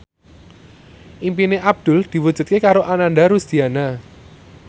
impine Abdul diwujudke karo Ananda Rusdiana